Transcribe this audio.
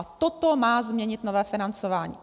A toto má změnit nové financování.